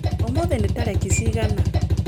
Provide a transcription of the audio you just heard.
Ũmũthĩ ni tarĩki cigana?